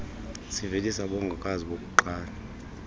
sivelise abongokazi bokuqala